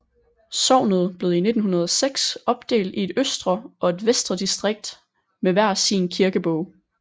Sognet blev i 1906 opdelt i et østre og et vestre distrikt med hver sin kirkebog